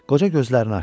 Qoca gözlərini açdı.